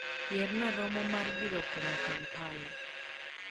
Yierna romo mar bilo kwong' Kampala